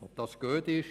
Ob das gut ist?